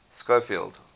schofield